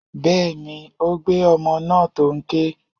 Bẹ́ẹ̀ni, ó gbé ọmọ náà tó n ké.